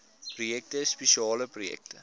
projekte spesiale projekte